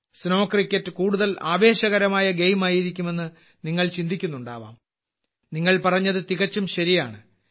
snow cricket കൂടുതൽ ആവേശകരമായ ഗെയിമായിരിക്കുമെന്ന് നിങ്ങൾ ചിന്തിക്കുന്നുണ്ടാകാം നിങ്ങൾ പറഞ്ഞത് തികച്ചും ശരിയാണ്